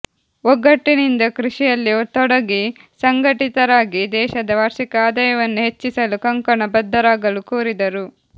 ಒಗ್ಗಟ್ಟಿನಿಂದ ಕೃಷಿಯಲ್ಲಿ ತೊಡಗಿ ಸಂಘಟಿತರಾಗಿ ದೇಶದ ವಾರ್ಷಿಕ ಆದಾಯವನ್ನು ಹೆಚ್ಚಿಸಲು ಕಂಕಣ ಬದ್ಧರಾಗಲು ಕೋರಿದರು